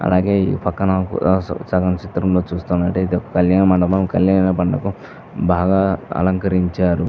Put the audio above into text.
అలాగే ఈ పక్కన స చలన చిత్రంలో చూస్తునట్టయితే ఇది ఒక కళ్యాణ మండపం. కళ్యాణ మండపం బాగా అలంకరించారు.